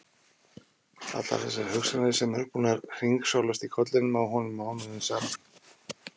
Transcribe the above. Allar þessar hugsanir sem eru búnar að hringsnúast í kollinum á honum mánuðum saman!